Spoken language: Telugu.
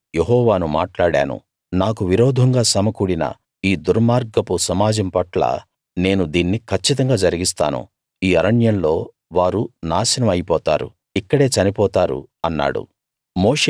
నేను యెహోవాను మాట్లాడాను నాకు విరోధంగా సమకూడిన ఈ దుర్మార్గపు సమాజం పట్ల నేను దీన్ని కచ్చితంగా జరిగిస్తాను ఈ అరణ్యంలో వారు నాశనం అయిపోతారు ఇక్కడే చనిపోతారు అన్నాడు